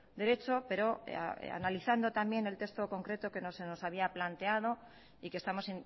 derecho pero analizando también el texto concreto que se nos había planteado y que estamos